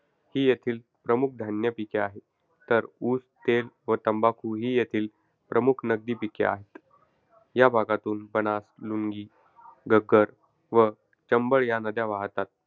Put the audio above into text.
ही येथील प्रमुख धान्य पिके आहेत. तर, ऊस, तेल व तंबाखू ही येथील प्रमुख नगदी पिके आहेत. या भागातून बनास, लुनी, घग्गर व चंबळ या नद्या वाहतात.